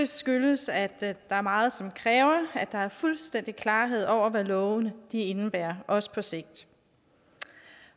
skyldes at der er meget som kræver at der er fuldstændig klarhed over hvad lovene indebærer også på sigt